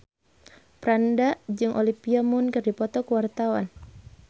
Franda jeung Olivia Munn keur dipoto ku wartawan